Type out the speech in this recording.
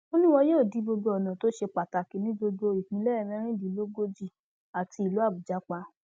ó ní wọn yóò di gbogbo ọnà tó ṣe pàtàkì ní gbogbo ìpínlẹ mẹrìndínlógójì àti ìlú àbújá pa